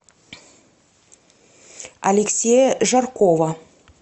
алексея жаркова